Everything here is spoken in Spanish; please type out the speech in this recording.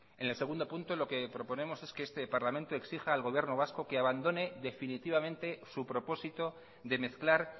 en el segundo punto lo que proponemos es que este parlamento exija al gobierno vasco que abandone definitivamente su propósito de mezclar